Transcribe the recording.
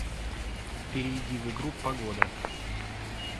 перейди в игру погода